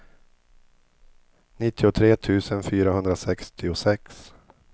nittiotre tusen fyrahundrasextiosex